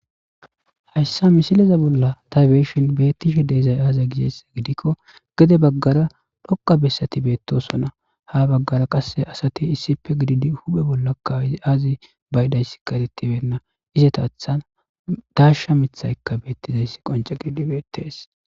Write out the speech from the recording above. hayssa misileza bolla taybeeshin beettishe deezay aaza gizheess gidikko gede baggara dhoqa bessati beettoso na ha baggara qasse asati issipe gididi huphe bollaka azi baydayss karetibenna izeta athan dasha mithaykka beettizayss qonce gididi beettees